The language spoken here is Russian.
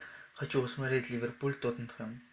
хочу посмотреть ливерпуль тоттенхэм